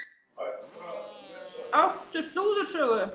Áttu slúðursögu?